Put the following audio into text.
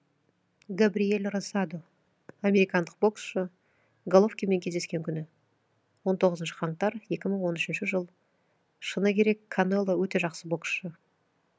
габриель росадо американдық боксшы головкинмен кездескен күні он тоғызыншы қаңтар екі мың он үшінші жыл шыны керек канело өте жақсы боксшы